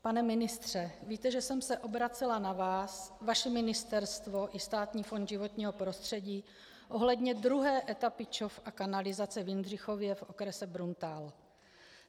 Pane ministře, víte, že jsem se obracela na vás, vaše ministerstvo i Státní fond životního prostředí ohledně druhé etapy ČOV a kanalizace v Jindřichově v okrese Bruntál.